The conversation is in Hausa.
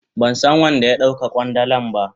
Ban san wan da ya dau ka kwandalan ba.